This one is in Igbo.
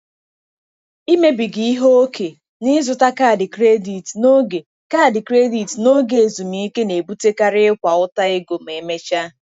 Imebiga ihe ókè n'ịzụta kaadị kredit n'oge kaadị kredit n'oge ezumike na-ebutekarị ịkwa ụta ego ma emechaa.